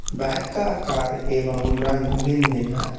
Bag का आकार एवं रंग भिन्न भिन्न है।